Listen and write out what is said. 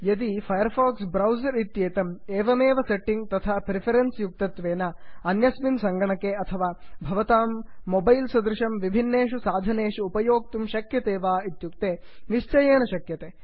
यदि Firefox browser इत्येतम् इममेव सेट्टिङ्ग्स् तथा प्रिफरेन्स् युक्तत्वेन अन्यस्मिन् सङ्गणके अथवा भवतां मोबैल् सदृशं विभिन्नेषु साधनेषु उपयोक्तुं शक्यते वा160 इत्युक्ते निश्चयेन शक्यते